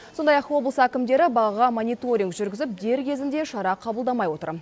сондай ақ облыс әкімдері бағаға мониторинг жүргізіп дер кезінде шара қабылдамай отыр